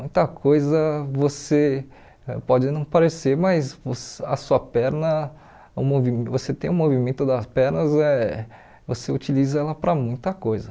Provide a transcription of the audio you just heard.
Muita coisa você pode não parecer, mas você a sua perna, o movi você tem o movimento das pernas eh, você utiliza ela para muita coisa.